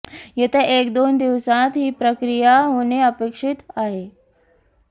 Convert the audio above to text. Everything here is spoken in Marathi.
येत्या एक दोन दिवसांत ही प्रक्रिया होणे अपेक्षित आहे